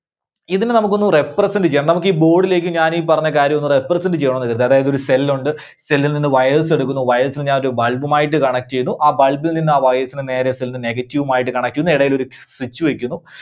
ഇതിനെ നമുക്ക് ഒന്ന് represent ചെയ്യാം. നമുക്ക് ഈ board ലേക്ക് ഞാൻ ഈ പറഞ്ഞ കാര്യം ഒന്ന് represent ചെയ്യണമെന്ന് കരുതുക. അതായത് ഒരു cell ഉണ്ട് Cell ൽ നിന്ന് wires എടുക്കുന്നു wires നെ ഞാൻ ഒരു bulb മായിട്ട് connect ചെയ്യുന്നു. ആ bulb ൽ നിന്ന് ആ wires നെ നേരെ cell ന്റെ negative മായിട്ട് connect ചെയ്യുന്നു. ഇടേലൊരു switch വയ്ക്കുന്നു.